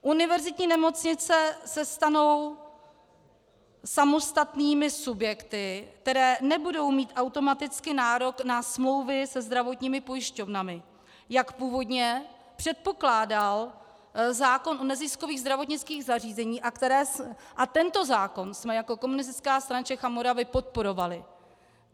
Univerzitní nemocnice se stanou samostatnými subjekty, které nebudou mít automaticky nárok na smlouvy se zdravotními pojišťovnami, jak původně předpokládal zákon o neziskových zdravotnických zařízeních, a tento zákon jsme jako Komunistická strana Čech a Moravy podporovali.